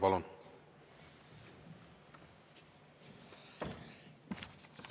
Palun!